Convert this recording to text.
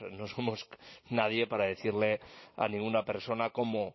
no somos nadie para decirle a ninguna persona cómo